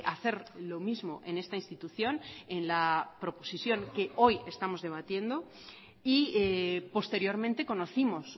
hacer lo mismo en esta institución en la proposición que hoy estamos debatiendo y posteriormente conocimos